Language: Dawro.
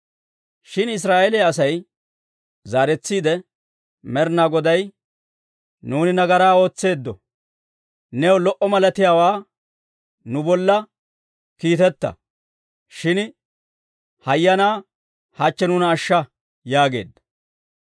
Shin Israa'eeliyaa Asay zaaretsiide Med'inaa Godaa, «Nuuni nagaraa ootseeddo. New lo"o malatiyaawaa nu bolla kiitetta; shin hayyanaa, hachche nuuna ashsha» yaageedda.